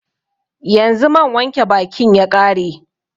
Yanzu man wanke bakin ya ƙare